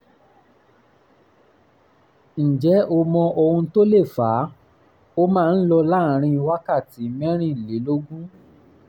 um ǹjẹ́ o mọ ohun tó lè fà á? ó máa ń lọ láàárín wákàtí mẹ́rìnlélógún um